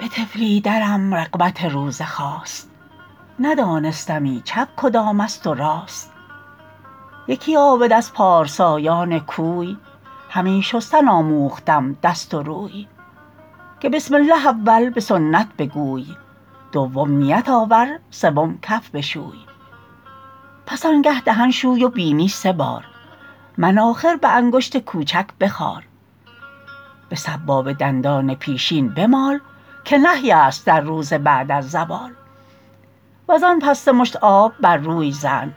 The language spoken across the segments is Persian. به طفلی درم رغبت روزه خاست ندانستمی چپ کدام است و راست یکی عابد از پارسایان کوی همی شستن آموختم دست و روی که بسم الله اول به سنت بگوی دوم نیت آور سوم کف بشوی پس آن گه دهن شوی و بینی سه بار مناخر به انگشت کوچک بخار به سبابه دندان پیشین بمال که نهی است در روزه بعد از زوال وز آن پس سه مشت آب بر روی زن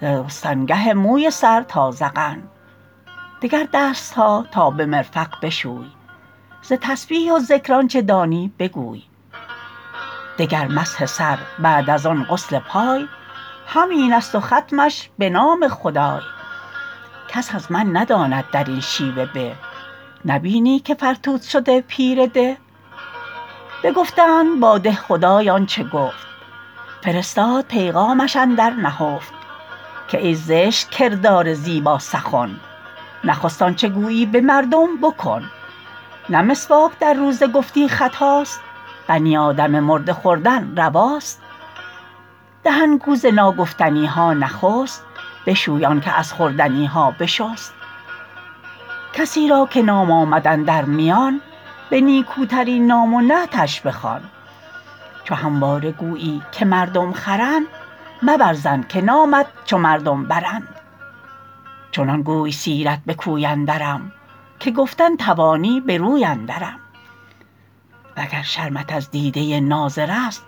ز رستنگه موی سر تا ذقن دگر دستها تا به مرفق بشوی ز تسبیح و ذکر آنچه دانی بگوی دگر مسح سر بعد از آن غسل پای همین است و ختمش به نام خدای کس از من نداند در این شیوه به نبینی که فرتوت شد پیر ده بگفتند با دهخدای آنچه گفت فرستاد پیغامش اندر نهفت که ای زشت کردار زیبا سخن نخست آنچه گویی به مردم بکن نه مسواک در روزه گفتی خطاست بنی آدم مرده خوردن رواست دهن گو ز ناگفتنیها نخست بشوی آن که از خوردنیها بشست کسی را که نام آمد اندر میان به نیکوترین نام و نعتش بخوان چو همواره گویی که مردم خرند مبر ظن که نامت چو مردم برند چنان گوی سیرت به کوی اندرم که گفتن توانی به روی اندرم وگر شرمت از دیده ناظر است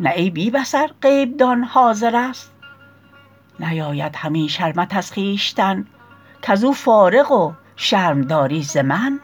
نه ای بی بصر غیب دان حاضر است نیاید همی شرمت از خویشتن کز او فارغ و شرم داری ز من